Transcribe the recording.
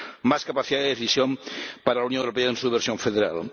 Más capacidad de decisión para la Unión Europea en su versión federal